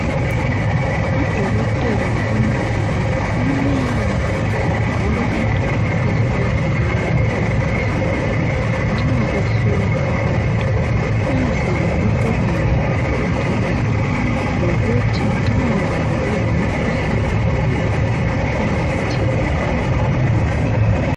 Odokotela labomongikazi kumele bagqoke into ezibavikelayo emikhuhlaneni nxa behlola abantu, ukwenzela ukuba labo bavikeleke, lokuthi nxa labo belemikhuhlane abalayo bengayitheleli abagulayo.